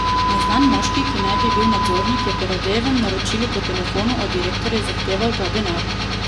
Neznan moški, ki naj bi bil nadzornik, je po Radejevem naročilu po telefonu od direktorja zahteval ta denar.